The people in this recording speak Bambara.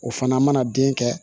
O fana mana den kɛ